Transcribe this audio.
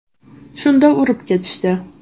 Shunda urib ketishdi.